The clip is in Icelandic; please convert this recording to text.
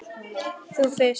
Þú fyrst, segi ég.